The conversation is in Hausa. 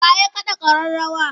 Wa ya kaɗa ƙararrawa?